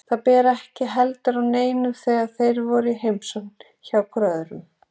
Það ber ekki heldur á neinu þegar þeir eru í heimsókn hvor hjá öðrum.